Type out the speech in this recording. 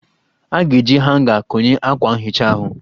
A ga-eji hanga konye akwa nhicha ahụ